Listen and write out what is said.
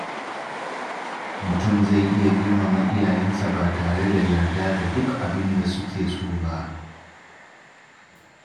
Mutum zai iya girmama iyayensa ba tare da yarda da duk abin da suke so ba.